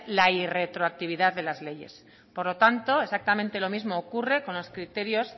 la irretroactividad de las leyes por lo tanto exactamente lo mismo ocurre con los criterios